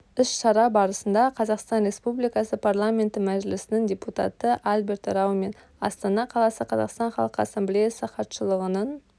іс-шара барысында қазақстан республикасы парламенті мәжілісінің депутаты альберт рау мен астана қаласы қазақстан халқы ассамблеясы хатшылығының